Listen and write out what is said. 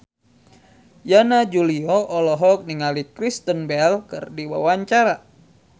Yana Julio olohok ningali Kristen Bell keur diwawancara